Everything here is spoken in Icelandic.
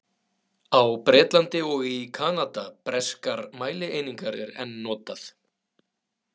Á Bretlandi og í Kanada Breskar mælieiningar er enn notað.